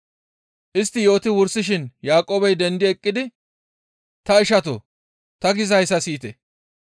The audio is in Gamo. Istti yooti wursishin Yaaqoobey dendi eqqidi, «Ta ishatoo! Ta gizayssa siyite;